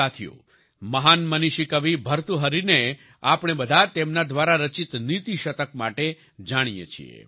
સાથીઓ મહાન મનીષી કવિ ભતૃહરિને આપણે બધા તેમના દ્વારા રચિત નીતિ શતક માટે જાણીએ છીએ